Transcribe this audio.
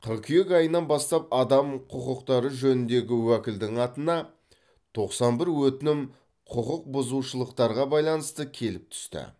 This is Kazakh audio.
қыркүйек айынан бастап адам құқықтары жөніндегі уәкілдің атына тоқсан бір өтінім құқықбұзушылықтарға байланысты келіп түсті